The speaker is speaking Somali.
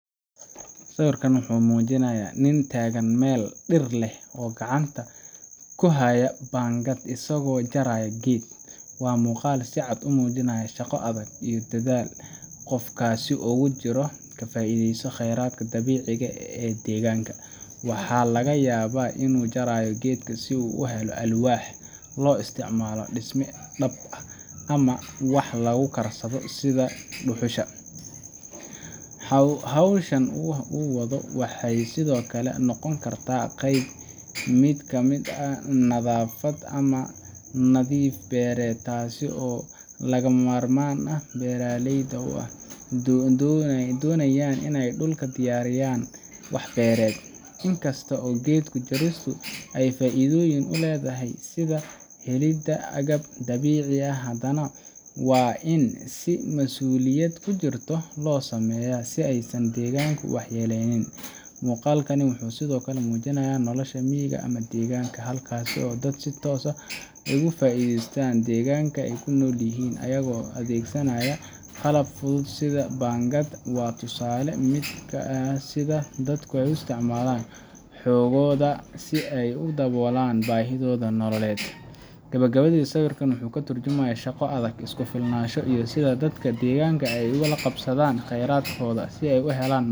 Sawirkan wuxuu muujinayaa nin taagan meel dhir leh oo gacanta ku haya baangad, isagoo jaraya geed. Waa muuqaal si cad u muujinaya shaqo adag iyo dadaal qofkaasi ugu jiro in uu ka faa’iideysto kheyraadka dabiiciga ah ee deegaanka. Waxaa laga yaabaa inuu jarayo geedka si uu u helo alwaax loo isticmaalo dhisme, dab, ama wax lagu karsado sida dhuxusha. Hawsha uu wado waxay sidoo kale noqon kartaa qayb ka mid ah nadaafad ama nadiifin beereed, taasoo lagama maarmaan u ah beeraleyda marka ay doonayaan in ay dhulka u diyaariyaan wax beerid. Inkasta oo geed jaristu ay faa’iidooyin u leedahay sida helidda agab dabiici ah, haddana waa in si masuuliyadi ku jirto loo sameeyaa si aysan deegaanka u waxyeelayn. Muuqaalkani wuxuu sidoo kale muujinayaa nolosha miyiga ama deegaanka, halkaasoo dadku si toos ah uga faa’iideystaan deegaanka ay ku nool yihiin, ayagoo adeegsanaya qalab fudud sida baangad. Waa tusaale ka mid ah sida dadku u isticmaalaan xooggooda si ay u daboolaan baahidooda nololeed. Gabagabadii, sawirkan wuxuu ka tarjumayaa shaqo adag, isku filnaansho, iyo sida dadka deegaanka ay ula qabsadaan kheyraadkooda si ay u helaan nolol .